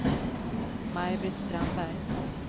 Maj-Britt Strandberg